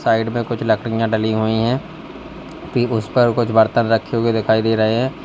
Side में कुछ लकड़ियां डली हुई हैं कि उस पर कुछ बर्तन रखे हुए दिखाई दे रहे हैं।